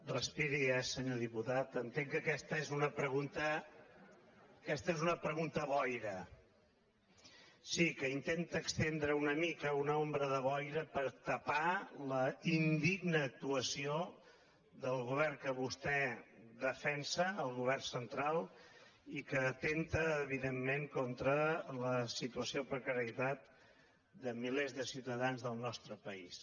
respiri eh senyor diputat entenc que aquesta és una pregunta boira sí que intenta estendre una mica una ombra de boira per tapar la indigna actuació del govern que vostè defensa el govern central i que atempta evidentment contra la situació de precarietat de milers de ciutadans del nostre país